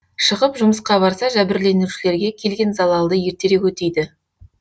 шығып жұмысқа барса жәбірленушілерге келген залалды ертерек өтейді